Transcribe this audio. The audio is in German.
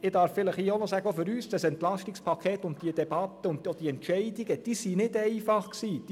Ich darf hier vielleicht auch noch sagen, dass auch für uns dieses EP und diese Debatte und auch diese Entscheide nicht einfach waren.